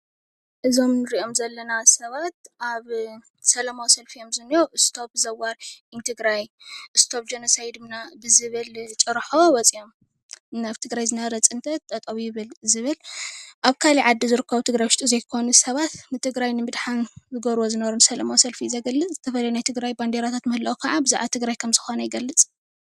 እዞም እንሪኦም ዘለና ሰባት ኣብ ሰላማዊ ሰልፊ እዮም ዝንኤዉ STOP THE WAR IN TIGRAY ጆኖሳይድ ብዝብል ጭርሖ እዮም ወፂኦም እና ኣብ ትግራይ ዝነበረ ፅንተት ጠጠው ይበል ብዝብል ኣብ ካሊእ ዓዲ ዝርከቡ ኣብ ትግራይ ዉሽጢ ዘይኮኑ ሰባት ንትግራይ ንምድሓን ዝገብርዎ ዝነበሩ ሰላማዊ ሰልፊ እዩ ዝገልፅ ናይ ትግራይ ባንዴራታት ምህላዉ ካዓ ብዛዕባ ትግራይ ምዃኑ ይገልፅ።